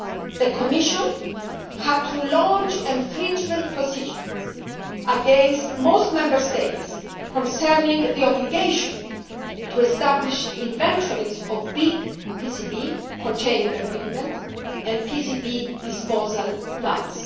The Commission had to launch infringement procedures against most Member States concerning the obligation to establish inventories of large PCB containing equipment and PCB disposal plans.